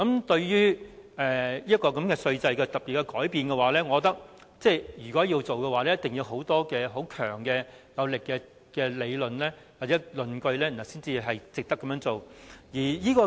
對於稅制的特別改變，我認為如果要做，一定要有充分強而有力的理據，證明值得這樣做。